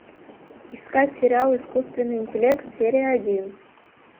искать сериал искусственный интеллект серия один